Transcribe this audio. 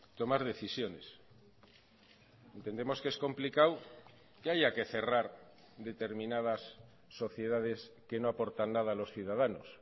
tomar decisiones entendemos que es complicado que haya que cerrar determinadas sociedades que no aportan nada a los ciudadanos